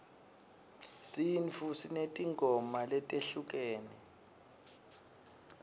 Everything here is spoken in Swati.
sintfu sinetimgoma letehlukene